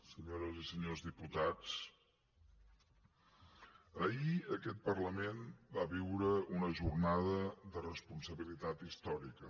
senyores i senyors diputats ahir aquest parlament va viure una jornada de responsabilitat històrica